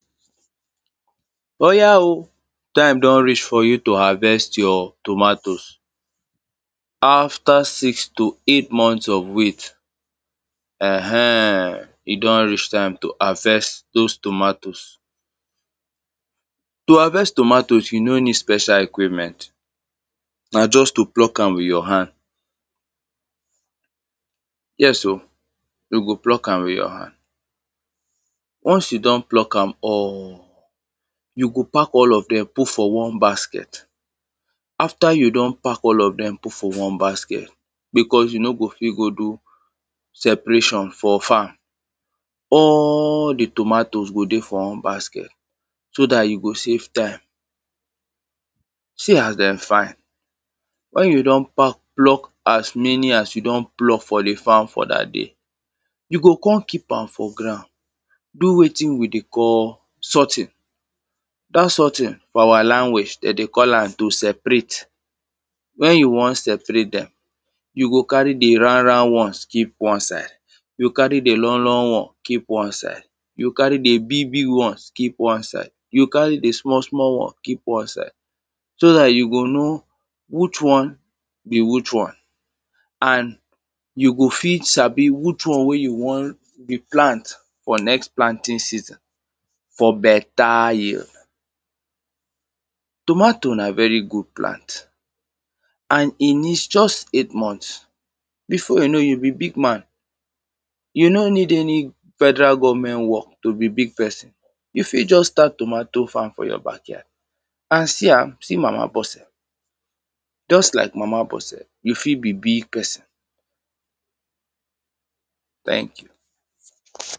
Oya o! Time don reach for you to harvest your tomatoes. After six to eight month of wait. um E don reach time to harvest those tomatoes. To harvest tomatoes, you no need special equipment. Na just to pluck am with your hand. Yes o, you go pluck am with your hand. Once you don pluck am all, you go pack all of them put for one basket. After you don pack all of them put for one basket because you no go fit go do separation for farm, all the tomatoes go dey for one basket so dat you go save time. See as them fine. When you don pack pluck as many as you don pluck for the farm for dat day, you go come keep am for ground, do wetin we dey call sorting. Dat sorting, for our language, them dey call am to separate. When you wan separate them, you go carry the round, round ones keep one side. You carry the long, long ones keep one side. You carry the big, big ones keep one side. You go carry the small, small one keep one side. So dat you go know which one be which one. And you go fit sabi which one wey you wan replant for next planting season, for beta yield. Tomato na very good plant and e need just eight months. Before you know, you be big man. You no need any federal government work to be big person. You fit just start tomato farm for your backyard. And see am, see mama Bose. Just lak mama Bose, you fit be big person. Thank you.